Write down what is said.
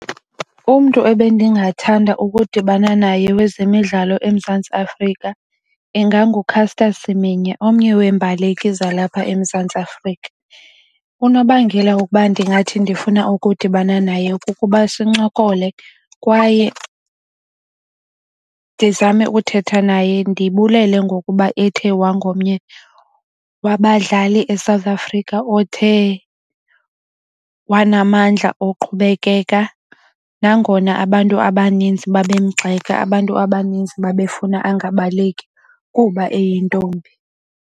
Umntu ebendingathanda ukudibana naye wezemidlalo eMzantsi Afrika inganguCaster Semenya omnye weembaleki zalapha eMzantsi Afrika. Unobangela wokuba ndingathi ndifuna ukudibana naye kukuba sincokole kwaye ndizame ukuthetha naye ndibulele ngokuba ethe wangomnye wabadlali eSouth Africa othe wanamandla oqhubekeka nangona abantu abaninzi babemgxeka, abantu abaninzi babefuna angabaleki kuba eyintombi.